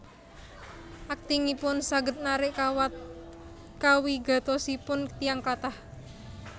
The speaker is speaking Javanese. Aktingipun saged narik kawigatosanipun tiyang kathah